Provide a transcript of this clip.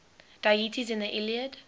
deities in the iliad